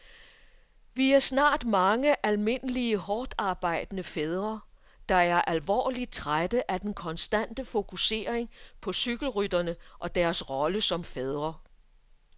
Vi er snart mange almindelige hårdtarbejdende fædre, der er alvorligt trætte af den konstante fokusering på cykelrytterne og deres rolle som fædre.